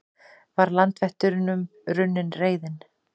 Var landvættunum runnin reiðin?